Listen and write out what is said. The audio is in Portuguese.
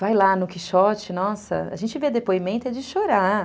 Vai lá no Quixote, nossa, a gente vê depoimento é de chorar.